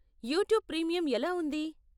YouTube premium ఎలా ఉంది?